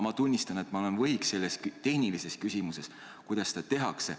Ma tunnistan, et olen võhik selles tehnilises küsimuses, kuidas seda tehakse.